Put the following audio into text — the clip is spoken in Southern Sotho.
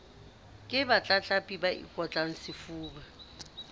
ke batlatlapi ba ikotlang sefuba